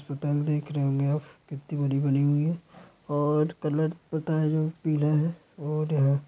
hotel देख रहे होंगे आप कित्ती बड़ी बनी हुई है और कलर पता है जो पीला है और है --